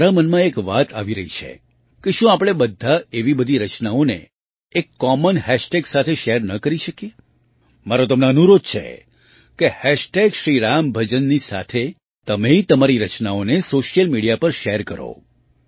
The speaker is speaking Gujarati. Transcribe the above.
મારા મનમાં એક વાત આવી રહી છે કે શું આપણે બધા એવી બધી રચનાઓને એક કોમન હાશ ટેગ સાથે શૅર ન કરી શકીએ મારો તમને અનુરોધ છે કે હેશટૅગ શ્રી રામભજન shriRamBhajanની સાથે તમે તમારી રચનાઓને સૉશિયલ મીડિયા પર શૅર કરો